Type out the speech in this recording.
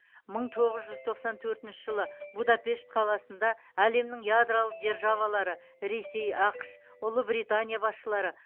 мың тоғыз жүз тоқсан төртінші жылы будапешт қаласында әлемнің ядролық державалары ресей ақш ұлыбритания басшылары